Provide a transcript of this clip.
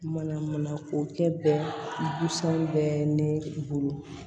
Mana mana ko kɛ bɛnsan bɛ ne bolo